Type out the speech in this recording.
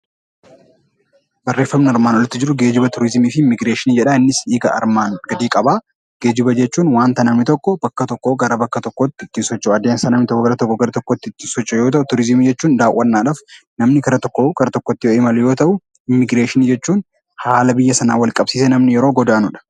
Geejjiba jechuun wanta namni tokko wanta tokko bakka tokkoo gara bakka tokkootti socho'an immiigireeshiniin godaansa namni tokko iddoo tokkoo gara biraatti ittiin socho'u yoo ta'u, turizimii jechuun namni daawwannaadhaaf namni gara tokkoo gara tokkotti kan imalu yoo ta'u, immiigireeshiniin haala biyya sanaan wal qabsiisee namni yeroo godaanudha.